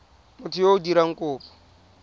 motho yo o dirang kopo